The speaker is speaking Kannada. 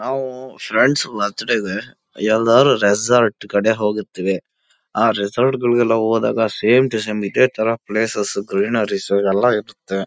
ನಾವು ಫ್ರೆಂಡ್ಸ್ ಬರ್ಥ್ಡೇ ಗೆ ಎಲ್ಲರು ರೆಸಾರ್ಟ್ ಕಡೆ ಹೋಗಿರ್ತೀವಿ ಆ ರೆಸಾರ್ಟ್ಗ ಳಲ್ಲಿ ಹೋದೋಗ ಇದೆ ಸೇಮ್ ಟು ಸೇಮ್ ಇದೆ ಥರ ಪ್ಲೇಸಸ್ ಗ್ರೀನರೀಸ್ ಎಲ್ಲ ಇರತ್ತೆ.